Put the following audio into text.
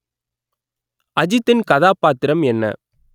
அஜித்தின் கதாபாத்திரம் என்ன